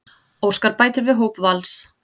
Óskar bætir við hóp Vals